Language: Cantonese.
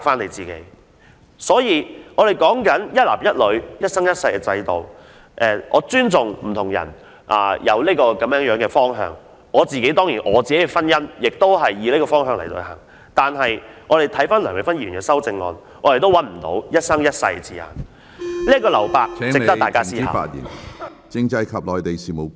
對於有人堅持維護一男一女、一生一世的制度，我尊重他們這個方向，而我的婚姻當然亦基於這方向，但回顧梁美芬議員的修正案，我卻找不到"一生一世"的字眼，此處的留白值得大家思考。